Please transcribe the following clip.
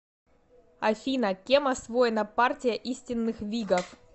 афина кем освоена партия истинных вигов